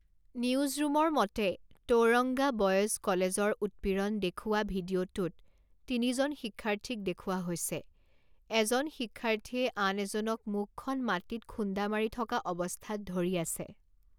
নিউজৰুমৰ মতে Tauranga boys কলেজৰ উৎপীড়ন দেখুওৱা ভিডিঅ'টোত তিনিজন শিক্ষাৰ্থীক দেখুওৱা হৈছে, এজন শিক্ষাৰ্থীয়ে আন এজনক মুখখন মাটিত খুন্দা মাৰি থকা অৱস্থাত ধৰি আছে।